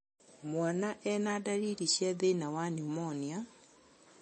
Mwana ena ndariri cia thĩna wa niumonia